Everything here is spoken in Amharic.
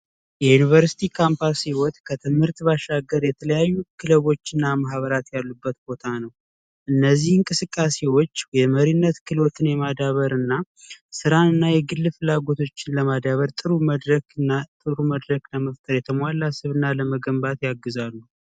የዩኒቨርሲቲ ካምፓስ ህይወት ከትምህርት ባሻገር የተለያዩ ክበቦችና ማህበራት ያሉበት ቦታ ነው እነዚህን እንቅስቃሴዎች የመሪነት ክህሎትን ማዳበር እና ስራ እና የግል ፍላጎቶችን ለማዳበር ጥሩ መድረክ መፍጠርና የተሟላ ስብዕና ለመፍጠር ያግዛሉ።